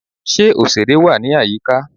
Ṣe oṣere wá ní àyíká?